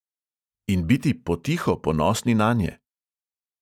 In biti potiho ponosni nanje?